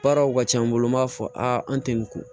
Baaraw ka ca n bolo n b'a fɔ a an tɛ nin ko